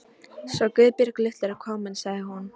Svo Guðbjörg litla er komin sagði hún.